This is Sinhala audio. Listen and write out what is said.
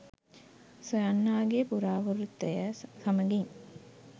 සොයන්නාගෙ පුරාවෘත්තය සමඟින්